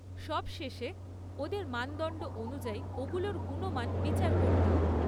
সবশেষে, ওদের মানদণ্ড অনুযায়ী ওগুলোর গুণমান বিচার করতাম।